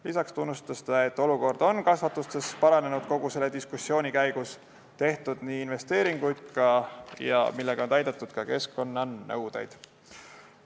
Lisaks ütles ta, et olukord on kasvandustes kogu selle diskussiooni käigus paranenud, on tehtud investeeringuid, millega on täidetud ka keskkonnanõuded.